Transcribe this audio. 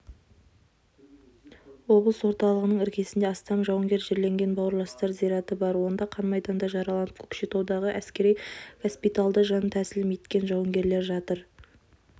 облыс орталығының іргесінде астам жауынгер жерленген бауырластар зираты бар онда қан майданда жараланып көкшетаудағы әскери госпитальда жан тәсілім еткен жауынгерлер жатыр